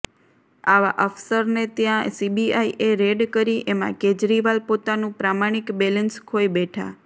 આવા અફસરને ત્યાં સીબીઆઈએ રેડ કરી એમાં કેજરીવાલ પોતાનું પ્રમાણિક બેલેન્સ ખોઈ બેઠા